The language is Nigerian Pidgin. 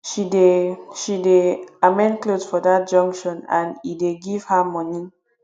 she dey she dey amend clothe for dat junction and e dey give her moni